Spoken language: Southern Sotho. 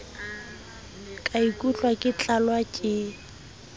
ka ikutlwa ke tlalwa ke